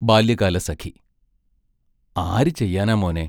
ബാല്യകാലസഖി ആരു ചെയ്യാനാ മോനേ?